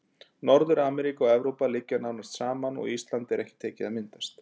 Norður-Ameríka og Evrópa liggja nánast saman og Ísland er ekki tekið að myndast.